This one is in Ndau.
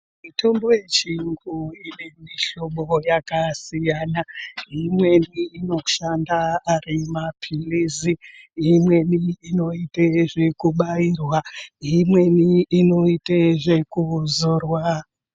Mitombo yechiyungu inemihlobo yakasiyana , imweni inoshanda arimaphilizi imweni inoite zvekubairwa imweni inoite zvekuzorwa.